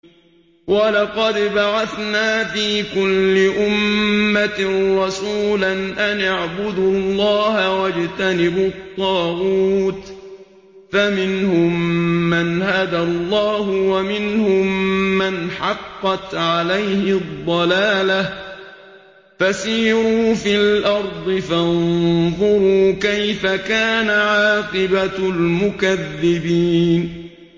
وَلَقَدْ بَعَثْنَا فِي كُلِّ أُمَّةٍ رَّسُولًا أَنِ اعْبُدُوا اللَّهَ وَاجْتَنِبُوا الطَّاغُوتَ ۖ فَمِنْهُم مَّنْ هَدَى اللَّهُ وَمِنْهُم مَّنْ حَقَّتْ عَلَيْهِ الضَّلَالَةُ ۚ فَسِيرُوا فِي الْأَرْضِ فَانظُرُوا كَيْفَ كَانَ عَاقِبَةُ الْمُكَذِّبِينَ